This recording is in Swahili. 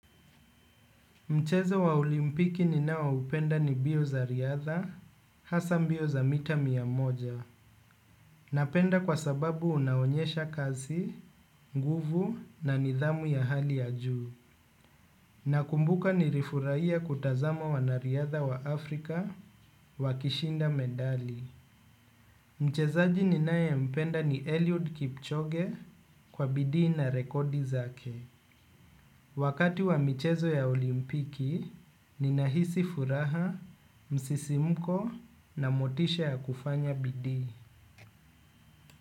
Mchezo wa olimpiki ninaoupenda ni mbio za riadha, hasa mbio za mita mia moja. Napenda kwa sababu unaonyesha kazi, nguvu na nidhamu ya hali ya juu. Nakumbuka nilifurahia kutazama wanariadha wa Afrika wakishinda medali. Mchezaji ninayempenda ni Elliud Kipchoge kwa bidii na rekodi zake. Wakati wa michezo ya olimpiki, ninahisi furaha, msisimko na motisha ya kufanya bidii.